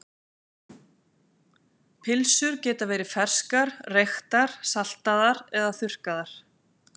Pylsur geta verið ferskar, reyktar, saltaðar eða þurrkaðar.